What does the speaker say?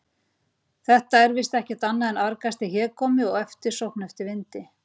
Þetta er víst ekkert annað en argasti hégómi og eftirsókn eftir vindi.